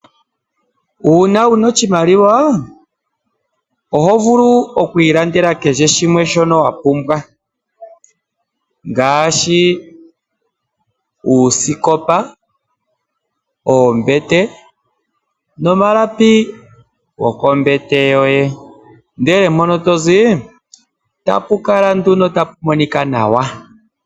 Uuna wuna oshimaliwa oho vulu oku ilandela kehe shimwe shoka wa pumbwa ngaashi uuskopa, oombete nomalapi goko mbete yoye ndee mpono tozi tapu kala nduno tapu monika nawa.